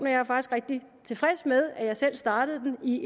er faktisk rigtig tilfreds med at jeg selv startede den i